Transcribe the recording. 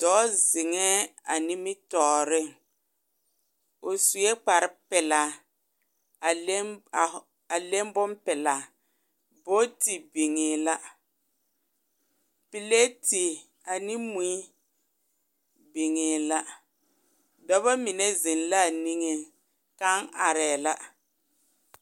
Dɔɔ zeŋɛ a nimitɔreŋ o sue kpar. pelaa a leŋ bonpelaa booti biŋɛ la laa ne moi biŋɛ la dɔba mine zeŋ la niŋe kaŋ. aree la